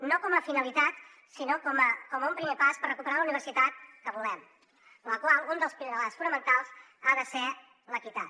no com a finalitat sinó com un primer pas per recuperar la universitat que volem en la qual un dels pilars fonamentals ha de ser l’equitat